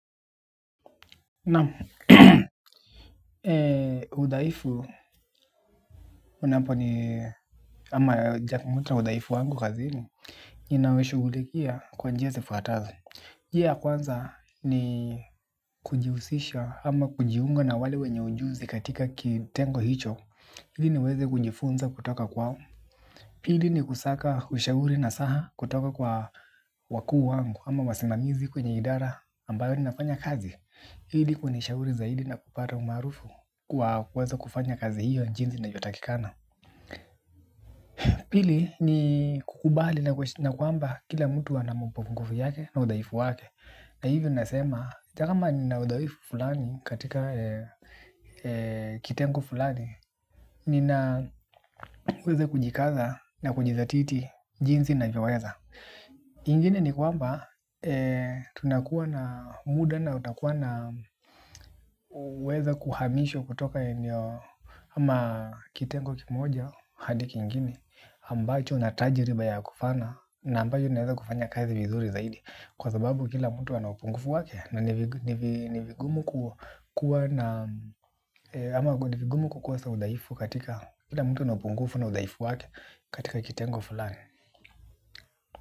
Naam, udhaifu unaponi ama jakamoto wa udhaifu wangu kazini ninaweishugulikia kwa njia zifwataze njia ya kwanza ni kujihusisha ama kujiunga na wale wenye ujuzi katika kitengo hicho ili niweze kunjifunza kutoka kwao pili ni kusaka ushauri nasaha kutoka kwa wakuu wangu ama wasimamizi kwenye idara ambayo ninafanya kazi ili kunishauri zaidi na kupata umaarufu kwa kuweza kufanya kazi hiyo jinsi inavyotakikana. Pili ni kukubali na kwamba kila mtu ana mapunguvu yake na udhaifu wake. Na hivyo ninasema, ata kama nina udhaifu fulani katika kitengo fulani ninaweze kujikaza na kujizatiti jinsi ninavyoweza. Ingine ni kwamba tunakua na muda na utakuwa na uweza kuhamishwa kutoka eneo ama kitengo kimoja hadi kingine ambacho natajiriba ya kufana na ambacho ninaweza kufanya kazi vizuri zaidi. Kwa sababu kila mtu ana upungufu wake na ni vigumu kukua na ama ni vigumu kukosa udhaifu katika kila mtu ana upungufu na udhaifu wake katika kitengo fulani.